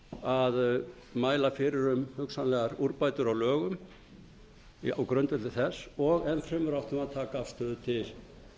að mæla fyrir um hugsanlegar úrbætur á lögum á grundvelli þess og enn fremur áttum við að taka afstöðu til